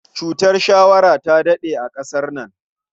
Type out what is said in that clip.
Cutar shawara ta daɗe a ƙasar nan.